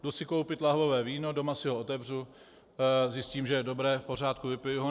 Jdu si koupit lahvové víno, doma si ho otevřu, zjistím, že je dobré, v pořádku, vypiji ho.